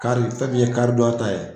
Kari fɛn min ye kari donya ta ye